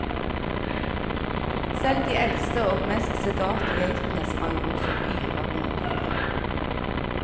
Selv de eldste og mest sedate geitene sprang rundt som yre ungdyr.